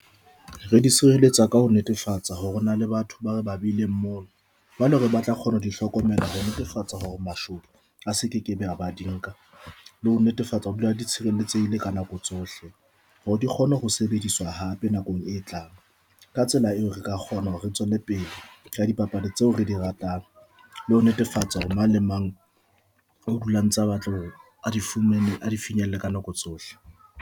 Re di sireletsa ka ho netefatsa hore hona le batho ba re ba bileng mono jwale hore ba tla kgona ho di hlokomela ho netefatsa hore mashome a se kekebe a ba di nka le ho netefatsa hore dula di tshireletsehile ka nako tsohle hore di kgone ho sebediswa hape nakong e tlang. Ka tsela eo, re ka kgona hore re tswele pele ka dipapadi tseo re di ratang, le ho netefatsa hore na le mang o dulang tsa batle hore a di fumane a di finyelle ka nako tsohle.